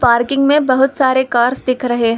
Parking में बहुत सारे कार्स दिख रहे हैं।